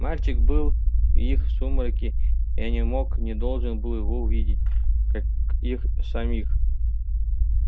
мальчик был в их сумраке я не мог не должен был его увидеть как их самих